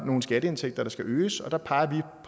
nogle skatteindtægter der skal øges og der peger